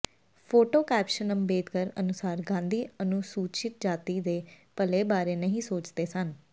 photo caption Ambedkar ਅਨੁਸਾਰ ਗਾਂਧੀ ਅਨੁਸੂਚਿਤ ਜਾਤੀ ਦੇ ਭਲੇ ਬਾਰੇ ਨਹੀਂ ਸੋਚਦੇ ਸਨ